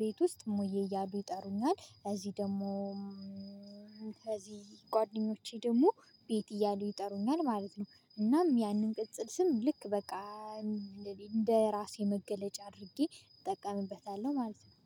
ቤት ውስጥ ሞዬ እያሉ ይጠሩኛል እዚህ ደግሞ ከዚህ ጓደኞቼ ደግሞ ቤት እያሉ ይጠሩኛል ማለት ነው። እናም ያንን ቅጽል ስም ልክ በቃ እንደዚህ እንደራሴ መገለጫ አድርጌ እጠቀምበታለሁ ማለት ነው።